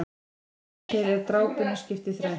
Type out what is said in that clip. Að formi til er drápunni skipt í þrennt.